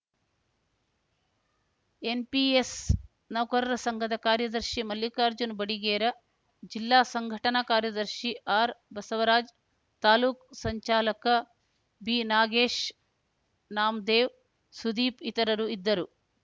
NPS ನೌಕರರ ಸಂಘದ ಕಾರ್ಯದರ್ಶಿ ಮಲ್ಲಿಕಾರ್ಜನ ಬಡಿಗೇರ ಜಿಲ್ಲಾ ಸಂಘಟನಾ ಕಾರ್ಯದರ್ಶಿ ಆರ್‌ಬಸವರಾಜ್‌ ತಾಲೂಕ್ ಸಂಚಾಲಕ ಬಿನಾಗೇಶ್‌ನಾಮದೇವ್‌ ಸುದೀಪ್‌ ಇತರರು ಇದ್ದರು